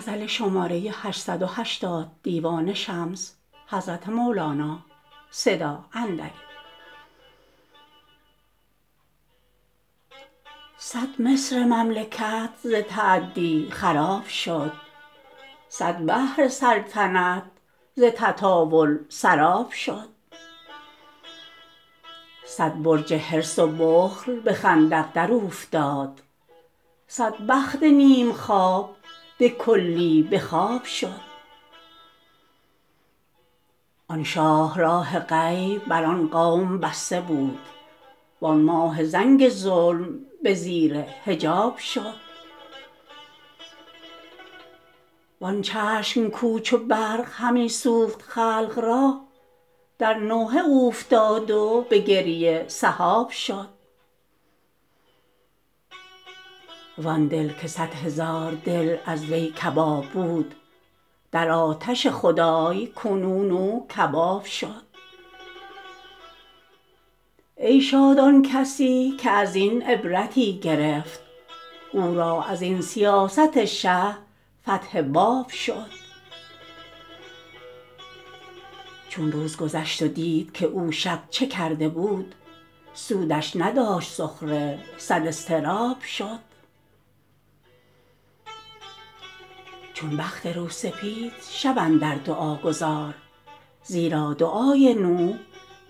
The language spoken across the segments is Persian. صد مصر مملکت ز تعدی خراب شد صد بحر سلطنت ز تطاول سراب شد صد برج حرص و بخل به خندق دراوفتاد صد بخت نیم خواب به کلی به خواب شد آن شاهراه غیب بر آن قوم بسته بود وان ماه زنگ ظلم به زیر حجاب شد وان چشم کو چو برق همی سوخت خلق را در نوحه اوفتاد و به گریه سحاب شد وان دل که صد هزار دل از وی کباب بود در آتش خدای کنون او کباب شد ای شاد آن کسی که از این عبرتی گرفت او را از این سیاست شه فتح باب شد چون روز گشت و دید که او شب چه کرده بود سودش نداشت سخره صد اضطراب شد چون بخت روسپید شب اندر دعا گذار زیرا دعای نوح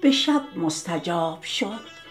به شب مستجاب شد